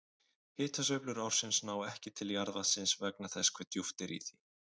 Hitasveiflur ársins ná ekki til jarðvatnsins vegna þess hve djúpt er á því.